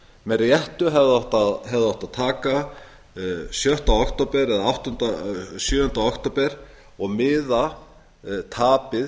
með réttu hefði átt að taka sjötta eða sjöunda október og miða tapið